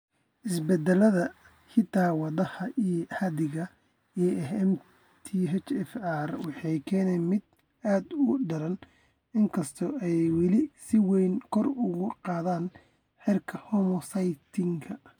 Isbeddellada hidda-wadaha ee caadiga ah ee MTHFR waxay keenaan mid aad u daran, inkastoo ay weli si weyn kor ugu qaadeen heerarka homocysteine.